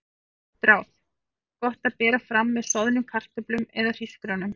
Gott ráð: Gott að bera fram með soðnum kartöflum eða hrísgrjónum.